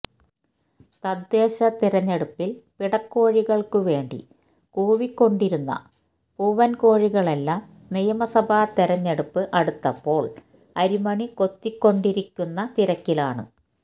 തദ്ദേശ തിരഞ്ഞെടുപ്പില് പിടക്കോഴികള്ക്ക് വേണ്ടി കൂവിക്കൊണ്ടിരുന്ന പൂവന് കോഴികളെല്ലാം നിയമസഭാ തിരഞ്ഞെടുപ്പ് അടുത്തപ്പോള് അരിമണി കൊത്തിക്കൊണ്ടിരിക്കുന്ന തിരക്കിലാണ്